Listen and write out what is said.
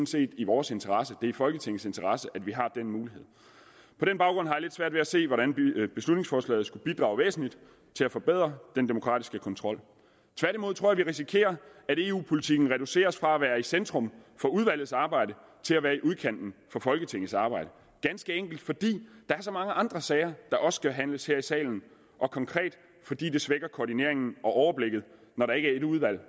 set i vores interesse det er i folketingets interesse at vi har den mulighed på den baggrund har jeg lidt svært ved at se hvordan beslutningsforslaget skulle bidrage væsentligt til at forbedre den demokratiske kontrol tværtimod tror jeg vi risikerer at eu politikken reduceres fra at være i centrum for udvalgets arbejde til at være i udkanten af folketingets arbejde ganske enkelt fordi der er så mange andre sager der også skal behandles her i salen og konkret fordi det svækker koordineringen og overblikket når der ikke er ét udvalg